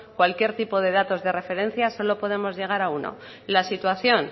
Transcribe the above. cualquier tipo de datos de referencia solo podemos llegar a uno la situación